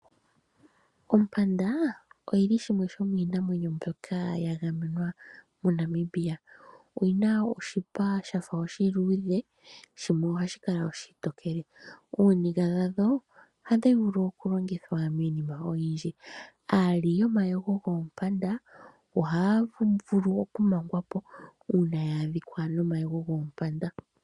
Ompanda oyi li shimwe shomiinamwenyo mbyoka yagamenwa moNamibia. Oyi na oshipa shafa oshiluudhe, shimwe ohashi kala oshitokele. Ooniga dhadho ohadhi vulu oku longithwa miinima oyindji. Aali yomayego goompanda ohaya vulu oku mangwa po, uuna ya adhika nomayego goompanda.